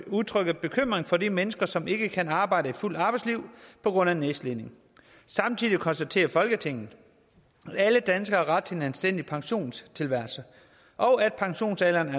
udtrykker bekymring for de mennesker som ikke kan arbejde et fuldt arbejdsliv på grund af nedslidning samtidig konstaterer folketinget at alle danskere har ret til en anstændig pensionstilværelse og at pensionsalderen